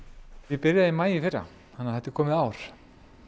byrjaði í maí í fyrra svo þetta er komið ár